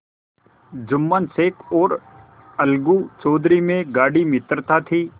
जुम्मन शेख और अलगू चौधरी में गाढ़ी मित्रता थी